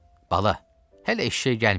Bala, hələ eşşək gəlməyib.